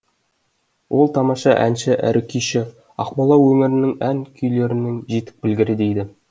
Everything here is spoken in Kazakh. ол тамаша әнші әрі күйші ақмола өңірінің ән күйлерінің жетік білгірі дейді